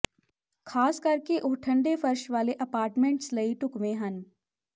ਖ਼ਾਸ ਕਰਕੇ ਉਹ ਠੰਡੇ ਫ਼ਰਸ਼ ਵਾਲੇ ਅਪਾਰਟਮੈਂਟਸ ਲਈ ਢੁਕਵੇਂ ਹਨ